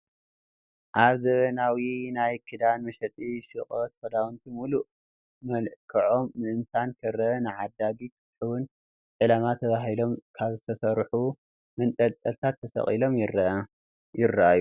ኣብ ዘበናዊ ናይ ክዳን መሸጢ ሹቋት ክዳውንቲ ሙሉእ መልክዖም ምእታን ክረአን ንዓዳጊ ክስሕቡን ነዚ ዕላማ ተባሂሎም ኣብ ዝተሰርሑ መንጠልጠልታት ተሰቒሎም ይርአዩ፡፡